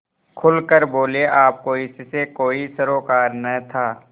खुल कर बोलेआपको इससे कोई सरोकार न था